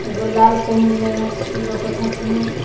एगो लाल पहिनले लउकत हथिं।